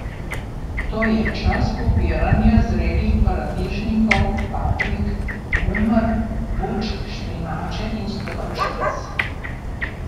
To je čas pobiranja zrelih paradižnikov, paprik, kumar, bučk, špinače in stročnic.